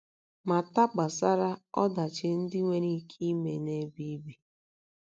Mata gbasara ọdachi ndị nwere ike ime n’ebe ibi.